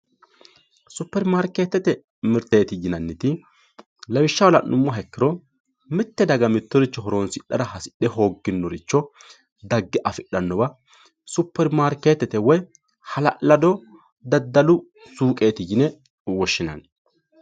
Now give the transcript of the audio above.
Superimaarketete mirteti yinanniti lawishshaho la'nuummoro mite daga horonsidhara hasidhe hooginoricho dage afidhanowa superimaarketete woyi hala'lado daddalu suqeti yine woshshinanni.